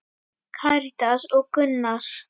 Karítas og Gunnar.